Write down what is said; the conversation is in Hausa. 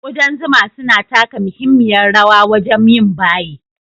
Ƙudan zuma suna taka muhimmiyar rawa wajen yin baye,